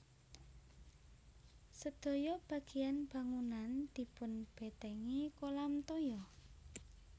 Sedaya bagéyan bangunan dipunbètèngi kolam toya